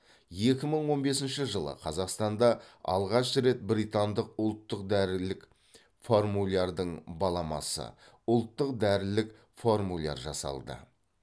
екі мың он бесінші жылы қазақстанда алғаш рет британдық ұлттық дәрілік формулярдың баламасы ұлттық дәрілік формуляр жасалды